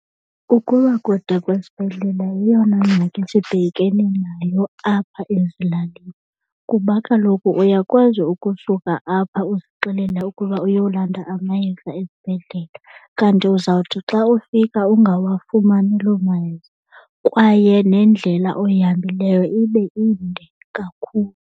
Ukuba kude kwesibhedlele yeyona ngxaki sibhekene nayo apha ezilalini, kuba kaloku uyakwazi ukusuka apha uzixelela ukuba uyolanda amayeza esibhedlele kanti uzawuthi xa ufika ungawafumani loo mayeza kwaye nendlela oyihambileyo ibe inde kakhulu.